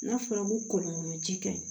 N'a fɔra ko kɔlɔn kɔnɔ ji kɛ